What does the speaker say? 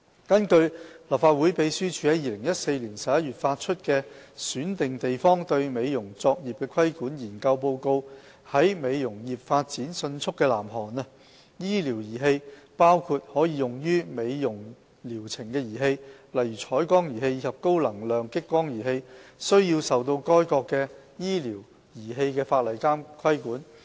根據立法會秘書處在2014年11月發出的《選定地方對美容作業的規管》研究報告，在美容業發展迅速的南韓，醫療儀器包括可用於美容療程的儀器，例如彩光儀器及高能量激光儀器，須受該國的醫療儀器法例規管。